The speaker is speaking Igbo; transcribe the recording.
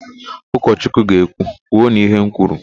Ụkọchukwu ga-ekwu, " kwuonu ihe m kwuru"!